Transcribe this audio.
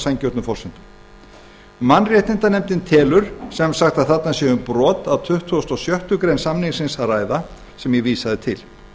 kaupa heimildir mannréttindanefndin telur sem sagt að um sé að ræða brot á tuttugustu og sjöttu grein samningsins sem ég vísaði til